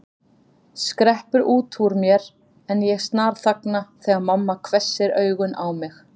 skreppur út úr mér en ég snarþagna þegar mamma hvessir augun á mig.